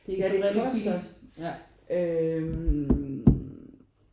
Ja det koster øh